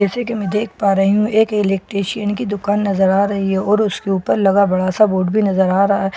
जैसा की मैं देख पा रही हूँ एक इलेक्ट्रिशन की दुकान नजर आ रही है और उस के ऊपर लगा बड़ा सा बोर्ड भी नजर आ रहा है जिस पे --